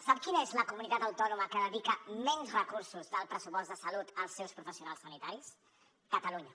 sap quina és la comunitat autònoma que dedica menys recursos del pressupost de salut als seus professionals sanitaris catalunya